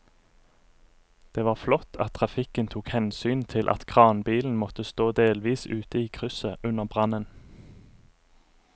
Det var flott at trafikken tok hensyn til at kranbilen måtte stå delvis ute i krysset under brannen.